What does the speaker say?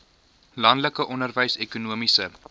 landelike onderwys ekonomiese